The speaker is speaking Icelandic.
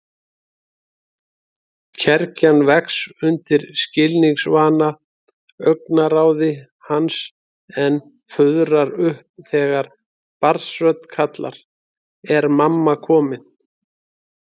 Kergjan vex undir skilningsvana augnaráði hans en fuðrar upp þegar barnsrödd kallar: Er mamma komin?